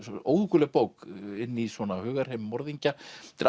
óhugguleg bók inn í svona hugarheim morðingja þetta er